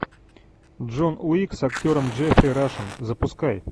джон уик с актером джеффри рашем запускай